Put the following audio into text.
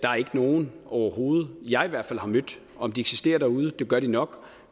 nogen overhovedet jeg i hvert fald har mødt om de eksisterer derude det gør de nok